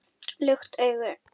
Lukt augu